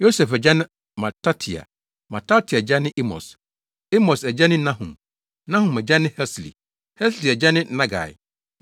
Yosef agya ne Matatia; Matatia agya ne Amos; Amos agya ne Nahum; Nahum agya ne Hesli; Hesli agya ne Nagai;